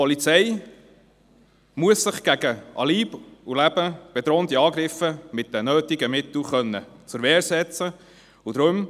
Die Polizei muss sich gegen Leib und Leben bedrohende Angriffe mit den nötigen Mitteln zur Wehr setzen können.